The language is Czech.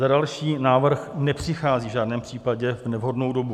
Za další, návrh nepřichází v žádném případě v nevhodnou dobu.